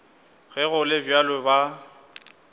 ge go le bjalo ba